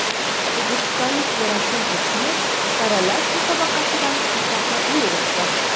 O‘zbekistonlik Gerasim Kochnev saralash musobaqasidan muvaffaqiyatli o‘tdi.